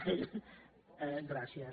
) gràcies